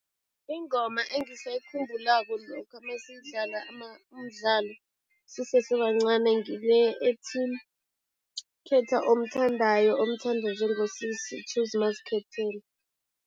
Ingoma engisayikhumbulako lokha masidlala umdlalo sisesebancani ngile ethi, khetha omthandayo, omthanda njengosisi, choose mazikhethela.